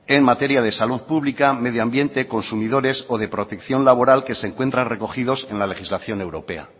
en materia de salud pública medioambiente consumidores o de protección laboral que se encuentran recogidos en la legislación europea